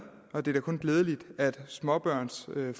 og det er da kun glædeligt at småbørnsforældre